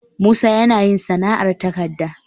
Musa yana yin sana'ar takarda